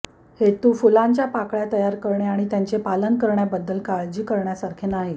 हेतू फुलांच्या पाकळ्या तयार करणे आणि त्यांचे पालन करण्याबद्दल काळजी करण्यासारखे नाही